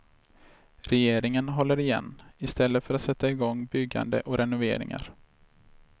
Regeringen håller igen, istället för att sätta igång byggande och renoveringar.